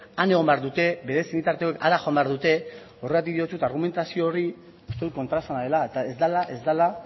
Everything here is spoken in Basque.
han egon behar dute bere senitartekoek bitartean hara joan behar dute horregatik diotsut argumentazio hori uste dut kontraesana dela eta